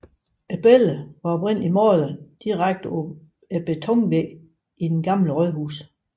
Billedet var oprindelig malet direkte på betonvæggen i det gamle rådhus